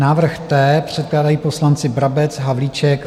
Návrh T. Předkládají poslanci Brabec, Havlíček.